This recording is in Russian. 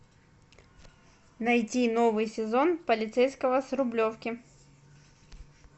найти новый сезон полицейского с рублевки